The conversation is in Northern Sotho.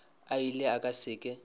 a ile a se ke